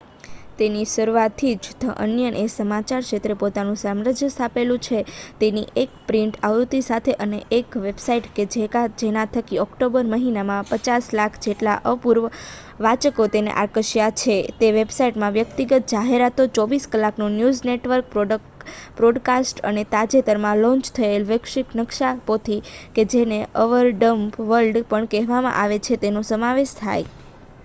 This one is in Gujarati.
તેની શરુઆથી જ ધ અનિયન એ સમાચાર ક્ષેત્રે પોતાનું સામ્રાજ્ય સ્થાપેલું છે તેની એક પ્રિન્ટ આવૃત્તિ સાથે અને એક વેબસાઈટ કે જેના થકી ઓક્ટોબર મહિનામાં 5,000,000 જેટલા અપૂર્વ વાંચકો તેને આકર્ષ્યા હતા. તે વેબસાઈટમાં વ્યક્તિગત જાહેરાતો 24 કલાકનું ન્યૂઝ નેટવર્ક પોડકાસ્ટ અને તાજેતરમાં લોન્ચ થયેલ વૈશ્વિક નક્શાપોથી કે જેને અવર ડમ્બ વર્લ્ડ પણ કહેવામાં આવે છે તેનો સમાવેશ થાય